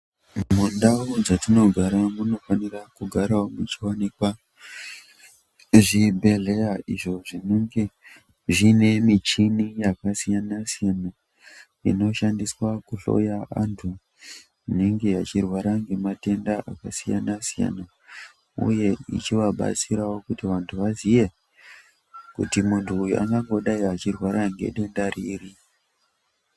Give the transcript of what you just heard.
Mundau dzatinogara munofanira kugarawo muchiwanikwa zvibhedhlera izvo zvinenge zviine michini yakasiyana-siyana inoshandiswa kuhloya vantu vanenge vachirwara ngematenda akasiyana siyana uye ichivabatsira kuti vaziye kuti muntu uyu angangodaro achirwara ngedenda riri.